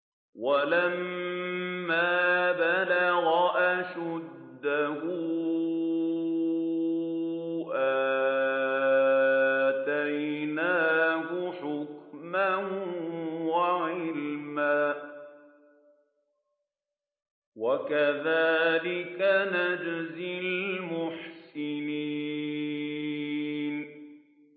وَلَمَّا بَلَغَ أَشُدَّهُ آتَيْنَاهُ حُكْمًا وَعِلْمًا ۚ وَكَذَٰلِكَ نَجْزِي الْمُحْسِنِينَ